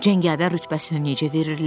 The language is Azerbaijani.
Cəngavər rütbəsini necə verirlər?